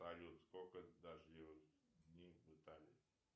салют сколько дождливых дней в италии